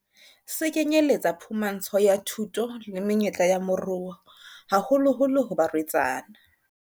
Se kenyeletsa phumantsho ya thuto le menyetla ya moruo, haholoholo ho barwetsana.